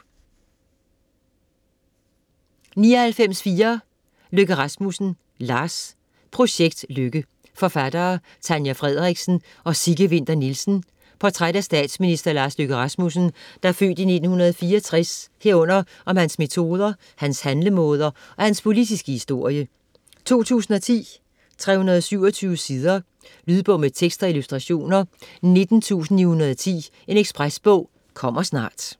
99.4 Løkke Rasmussen, Lars Projekt Løkke Forfattere: Tanja Frederiksen og Sigge Winther Nielsen Portræt af statsminister Lars Løkke Rasmussen (f. 1964), herunder om hans metoder, hans handlemåder og hans politiske historie. 2010, 327 sider. Lydbog med tekst og illustrationer 19910 Ekspresbog - kommer snart